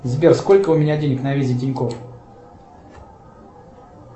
сбер сколько у меня денег на визе тинькофф